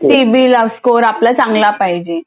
CIBIL score आपला चांगला पाहिज